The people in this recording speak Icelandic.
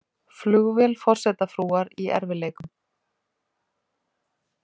Flugvél forsetafrúar í erfiðleikum